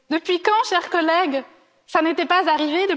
Depuis quand, chers collègues, cela n'était pas arrivé?